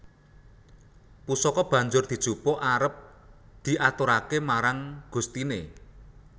Pusaka banjur dijupuk arep diaturaké marang gustiné